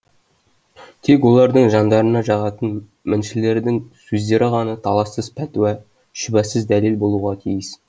тек олардың жандарына жағатын міншілердің сөздері ғана талассыз пәтуа шүбәсыз дәлел болуға тиіс